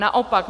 Naopak.